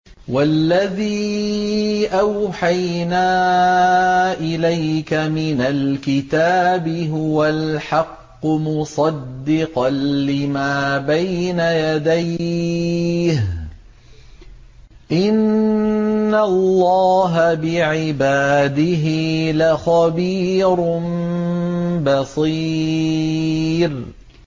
وَالَّذِي أَوْحَيْنَا إِلَيْكَ مِنَ الْكِتَابِ هُوَ الْحَقُّ مُصَدِّقًا لِّمَا بَيْنَ يَدَيْهِ ۗ إِنَّ اللَّهَ بِعِبَادِهِ لَخَبِيرٌ بَصِيرٌ